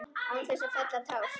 Án þess að fella tár.